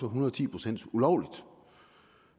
hundrede og ti procent ulovligt